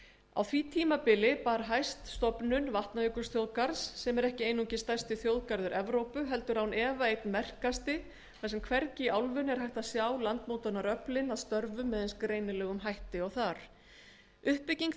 á tímabilinu bar það hæst að vatnajökulsþjóðgarður var stofnaður sem er ekki einungis stærsti þjóðgarður evrópu heldur án efa einn sá merkasti þar sem hvergi í álfunni er hægt að sjá landmótunaröfl elds og ísa að störfum með eins greinilegum hætti uppbygging